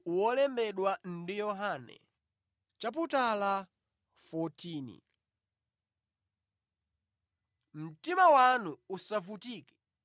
“Mtima wanu usavutike. Khulupirirani Mulungu; khulupirirani Inenso.